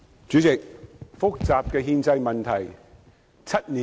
主席，憲制問題是複雜的。